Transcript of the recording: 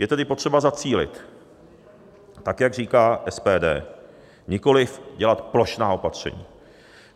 Je tedy potřeba zacílit, tak jak říká SPD, nikoli dělat plošná opatření.